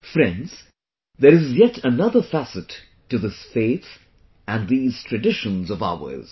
Friends, there is yet another facet to this faith and these traditions of ours